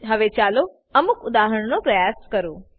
હવે ચાલો અમુક ઉદાહરણોનો પ્રયાસ કરો